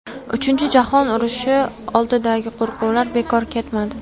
Uchinchi jahon urushi oldidagi qo‘rquvlar bekor ketmadi.